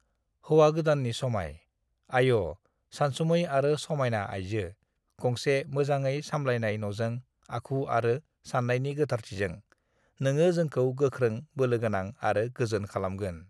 "हौवा गोदाननि समाय: आय'!, सानसुमै आरो समायना आइजो, गंसे मोजाङै सामलायनाय न'जों, आखु आरो साननायनि गोथारथिजों, नोङो जोंखौ गोख्रों, बोलोगोनां आरो गोजोन खालामगोन।"